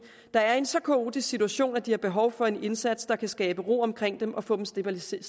der er i en så kaotisk situation at de har behov for en indsats der kan skabe ro omkring dem og få dem stabiliseret